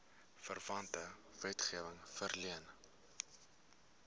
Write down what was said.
verwante wetgewing verleen